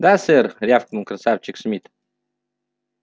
да сэр рявкнул красавчик смит